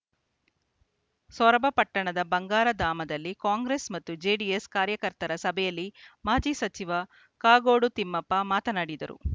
ಸೊರಬ ಪಟ್ಟಣದ ಬಂಗಾರ ಧಾಮದಲ್ಲಿ ಕಾಂಗ್ರೆಸ್‌ ಮತ್ತು ಜೆಡಿಎಸ್‌ ಕಾರ್ಯಕರ್ತರ ಸಭೆಯಲ್ಲಿ ಮಾಜಿ ಸಚಿವ ಕಾಗೋಡು ತಿಮ್ಮಪ್ಪ ಮಾತನಾಡಿದರು